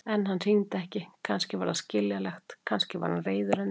En hann hringdi ekki, kannski var það skiljanlegt, kannski var hann reiður henni.